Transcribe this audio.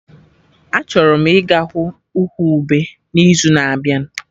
Achọrọ m ịga hụ ụkwụ ube n'izu na-abịa